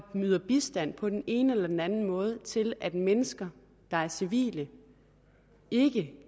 yder bistand på den ene eller den anden måde til at mennesker der er civile og ikke